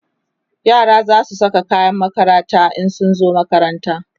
yara zasu Saka kayan makaranta in zasu zo makaranta